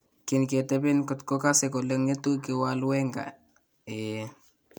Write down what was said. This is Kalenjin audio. kinketebeen kotko kase kole ng'etu , kiwaal wenger :eeh